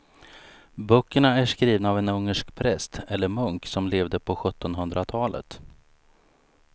Böckerna är skrivna av en ungersk präst eller munk som levde på sjuttonhundratalet.